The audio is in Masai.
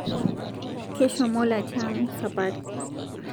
Keshomo latiang sapari